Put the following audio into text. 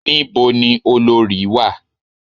Ní bo ni olorì wà?